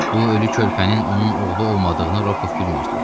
Bu ölü körpənin onun oğlu olmadığını Rokov bilmirdi.